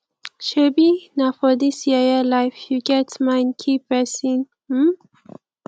shebi na for dis yeye life you get mind kill person um